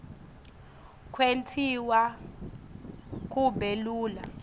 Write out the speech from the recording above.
kwentiwa kube lula